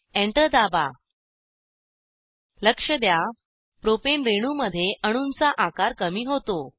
enter दाबा लक्ष द्या प्रोपेन रेणूमध्ये अणूंचा आकार कमी होतो